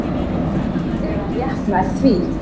Eða rétt nær því.